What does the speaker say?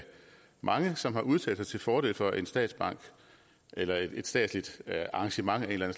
mange som har udtalt sig til fordel for en statsbank eller et statsligt arrangement af en eller